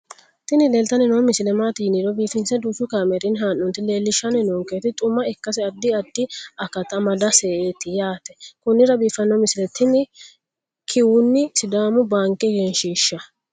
tini leeltanni noo misile maaati yiniro biifinse danchu kaamerinni haa'noonnita leellishshanni nonketi xuma ikkase addi addi akata amadaseeti yaate konnira biiffanno misileeti tini kiuni sidaamu baanke egenshshiisha